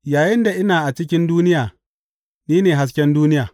Yayinda ina a cikin duniya, ni ne hasken duniya.